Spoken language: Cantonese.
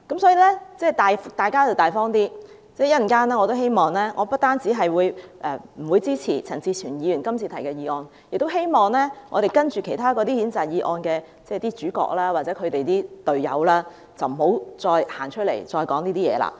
所以，大家要大方一點，我稍後不但不會支持陳志全議員今次提出的議案，亦希望稍後其他的譴責議案的主角或他們的隊友，不要再走出來說這些話。